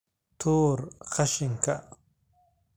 Tuur qashinka